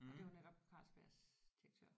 Og det var netop Carlsbergs direktør